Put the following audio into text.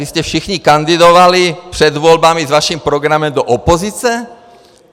Vy jste všichni kandidovali před volbami s vaším programem do opozice?